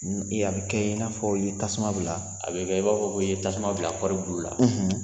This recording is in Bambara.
A bɛ kɛ i n'a fɔ ye tasuma bila , a bɛ i b'a fɔ ko i ye tasuma bila kɔɔri bulu la